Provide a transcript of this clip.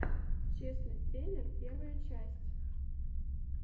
честный трейлер первая часть